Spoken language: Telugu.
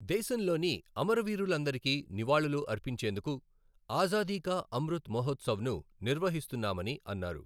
దేశంలోని అమరవీరులందరికీ నివాళులు అర్పించేందుకు ఆజాదీ కా అమృత్ మహోత్సవ్ను నిర్వ్హఇస్తున్నామని అన్నారు.